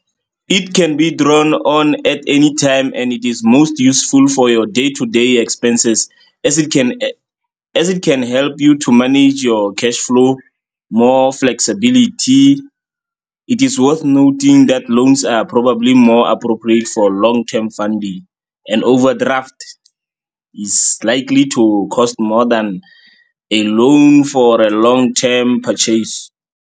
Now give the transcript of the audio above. It can be drawn on at any time and it is most useful for your day to day expenses as it can help you to manage your cash flow, more flexibility. It is with noting that loans are probably more appropriate for long term funding and overdraft is likely to cost more than a loan for a long term purchase.